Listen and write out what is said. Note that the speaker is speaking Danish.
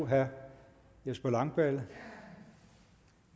herre jesper langballe